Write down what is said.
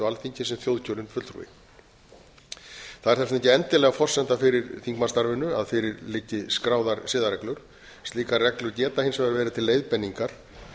alþingi sem þjóðkjörinn fulltrúi það er þess vegna ekki endilega forsenda fyrir þingmannsstarfinu að fyrir liggi skráðar siðareglur slíkar reglur geta hins vegar verið til leiðbeiningar